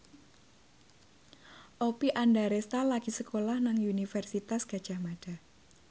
Oppie Andaresta lagi sekolah nang Universitas Gadjah Mada